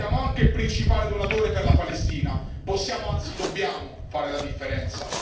Siamo anche il principale donatore per la Palestina possiamo, anzi dobbiamo, fare la differenza.